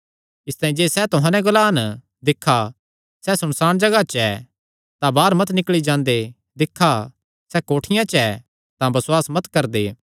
इसतांई जे सैह़ तुहां नैं ग्लान दिक्खा सैह़ सुनसाण जगाह च ऐ तां बाहर मत निकल़ी जांदे दिक्खा सैह़ कोठियां च ऐ तां बसुआस मत करदे